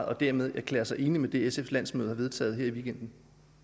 og dermed erklære sig enig i det sfs landsmøde har vedtaget her i weekenden